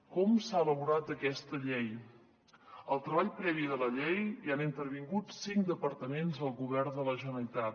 com s’ha elaborat aquesta llei al treball previ de la llei hi han intervingut cinc departaments del govern de la generalitat